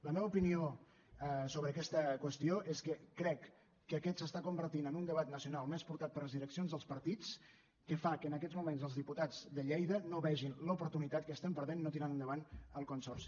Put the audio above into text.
la meva opinió sobre aquesta qüestió és que crec que aquest s’està convertint en un debat nacional més portat per les direccions dels partits que fa que en aquests moments els diputats de lleida no vegin l’oportunitat que estem perdent no tirant enda·vant el consorci